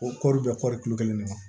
O kɔri bɛ kɔɔri kulo kelen de la